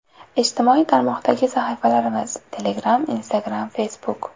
Ijtimoiy tarmoqdagi sahifalarimiz: Telegram Instagram Facebook .